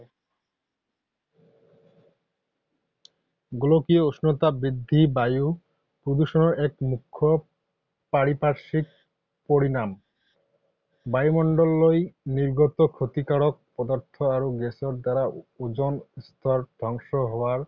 গোলকীয় উষ্ণতা বৃদ্ধি বায়ু প্ৰদূষণৰ এক মুখ্য পাৰিপাৰ্শ্বিক পৰিণাম। বায়ুমণ্ডললৈ নিৰ্গত ক্ষতিকাৰক পদাৰ্থ আৰু গেছৰ দ্বাৰা অজন স্তৰ ধ্বংস হোৱাৰ